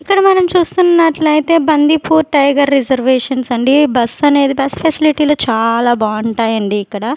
ఇక్కడ మనం చూస్తున్నట్లయితే బందిపో టైగర్ రిజర్వేషన్స్ అండి బస్సనేది బస్ ఫెసిలిటీలు చాలా బావుంటాయండి ఇక్కడ.